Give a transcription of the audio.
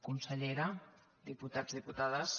consellera diputats diputades